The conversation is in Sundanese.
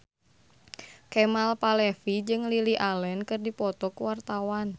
Kemal Palevi jeung Lily Allen keur dipoto ku wartawan